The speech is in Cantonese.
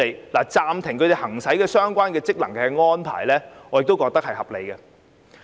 我認為暫停他們行使相關職能的安排合理。